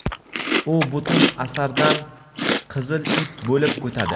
u butun asardan qizil ip bo‘lib o‘tadi.